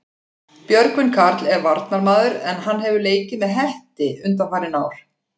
Björgvin Karl er varnarmaður en hann hefur leikið með Hetti undanfarin ár.